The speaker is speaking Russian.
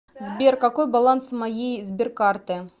сбер какой баланс моей сберкарты